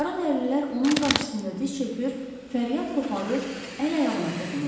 Qaradərililər onun qarşısında diz çökür, fəryad qoparır, əl-ayağına toxunurdular.